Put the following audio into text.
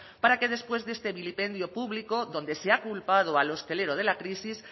para que después de este vilipendio público donde se ha culpado al hostelero de la crisis